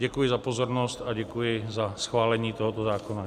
Děkuji za pozornost a děkuji za schválení tohoto zákona.